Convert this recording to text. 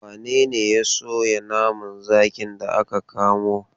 Wane ne ya soya naman zakin da aka kamo?